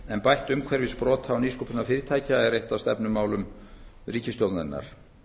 en bætt umhverfi sprota og nýsköpunarfyrirtækja er eitt af stefnumálum ríkisstjórnarinnar